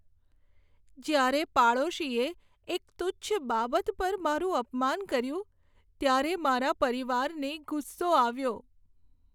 જ્યારે પાડોશીએ એક તુચ્છ બાબત પર મારું અપમાન કર્યું, ત્યારે મારા પરિવારને ગુસ્સો આવ્યો.